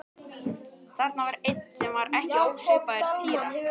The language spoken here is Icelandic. Þarna var einn sem var ekki ósvipaður Týra.